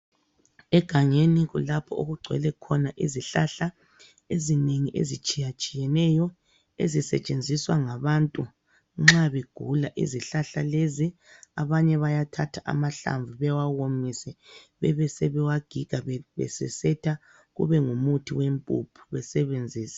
Egangeni kulapho okugcwele khona izihlahla ezinengi ezitshiyatshiyeneyo . Ezisetshenziswa ngabantu nxa begula , izihlahla lezi, abanye bayathatha amahlamvu bewawomise. Bebesebewagiga besesetha kube ngumuthi wempuphu besebenzise.